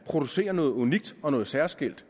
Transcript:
producerer noget unikt og noget særskilt